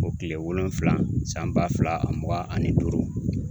O tile wolonwula san ba fila ani mugan ani duuru